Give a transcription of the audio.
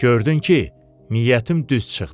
Gördün ki, niyyətim düz çıxdı.